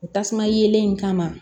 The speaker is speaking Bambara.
O tasuma yeelen in kama